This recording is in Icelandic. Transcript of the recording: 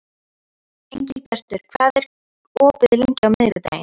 Engilbjartur, hvað er opið lengi á miðvikudaginn?